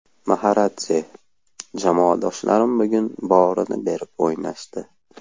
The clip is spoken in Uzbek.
Maxaradze: Jamoadoshlarim bugun borini berib o‘ynashdi.